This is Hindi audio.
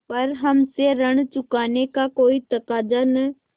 पर हमसे ऋण चुकाने का कोई तकाजा न